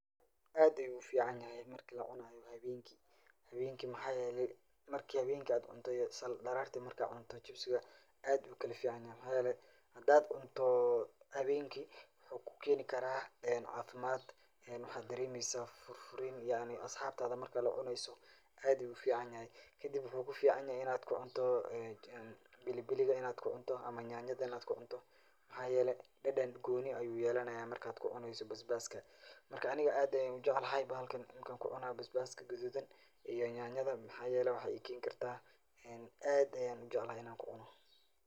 Aad ayuu ufican yahay marka lacunaayo haweenki mxaa yeele daraarti markaad cunto jibsiga aad ayuu ukala fican yahay mxaa yeele hadaad cunto haweenki wuxuu kuu keeni karaa cafimaad waxaa dareemeysa furfurniim yacni asxabtada marka lacuneyso aad ayuu ufican yahay, kadib wuxuu kufican yahay inaad kucunto basbas ama nyanya inaad kucunto waxaa yeele dadan gooni ayuu yeelana markaa kucuneyso basbaaska marka aniga aad ayaan ujeclahay bahalkan markaa kucunaayo basbaaska gaduudan iyo nyanyada waxaa yeele waxaay ii keeni kartaa aad ayaan ujeclahay inaan kucuno.